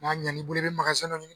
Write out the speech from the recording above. N'a ɲan'i bolo i bɛ magazɛn dɔ ɲini